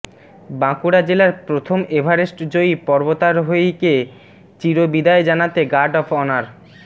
বাঁকুড়া জেলার প্রথম এভারেস্ট জয়ী পর্বতারোহীকে চির বিদায় জানাতে গার্ড অফ অনার